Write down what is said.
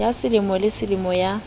ya selemo le selemo ya